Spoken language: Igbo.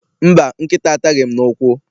Mba, nkịta ataghị m n'ụkwụ.